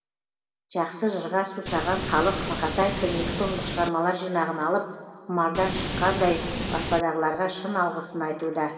жақсы жырға сусаған халық мақатаевтың екі томдық шығармалар жинағын алып құмардан шыққандай баспадағыларға шын алғысын айтуда